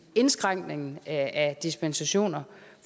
indskrænkningen af dispensationer